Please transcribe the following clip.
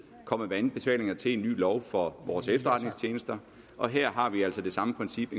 kommet med anbefalinger til en ny lov for vores efterretningstjenester og her har vi altså det samme princip